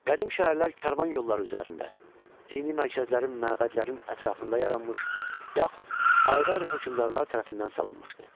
Qədim şəhərlər karvan yolları üzərində, dini mərkəzlərin, məbədlərin ətrafında yaranmış, yaxud ayrı-ayrı hökmdarlar tərəfindən salınmışdı.